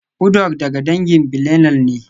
Uduak daga dangin billineal ne